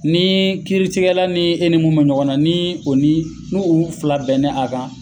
Ni kiiritigɛla ni e ni mun be ɲɔgɔn na , ni o ni n'olu fila bɛn na a kan